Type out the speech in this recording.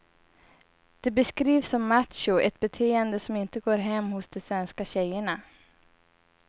De beskrivs som macho, ett beteende som inte går hem hos de svenska tjejerna.